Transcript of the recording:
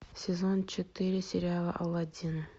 сезон четыре сериала аладдин